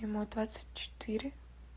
ему двадцать четыре